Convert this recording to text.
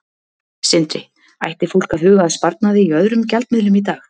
Sindri: Ætti fólk að huga að sparnaði í öðrum gjaldmiðlum í dag?